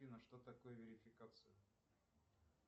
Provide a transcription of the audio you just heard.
афина что такое верификация